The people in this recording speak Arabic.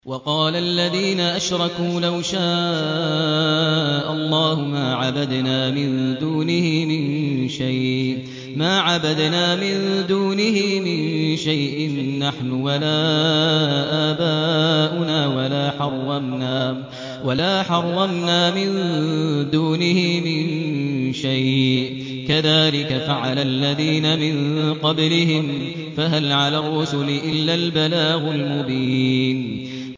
وَقَالَ الَّذِينَ أَشْرَكُوا لَوْ شَاءَ اللَّهُ مَا عَبَدْنَا مِن دُونِهِ مِن شَيْءٍ نَّحْنُ وَلَا آبَاؤُنَا وَلَا حَرَّمْنَا مِن دُونِهِ مِن شَيْءٍ ۚ كَذَٰلِكَ فَعَلَ الَّذِينَ مِن قَبْلِهِمْ ۚ فَهَلْ عَلَى الرُّسُلِ إِلَّا الْبَلَاغُ الْمُبِينُ